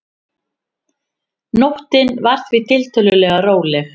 Nóttin var því tiltölulega róleg